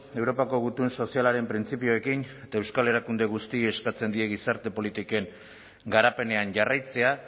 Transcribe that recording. europako gutun sozialaren printzipioekin eta euskal erakunde guztiei eskatzen die gizarte politiken garapenean jarraitzea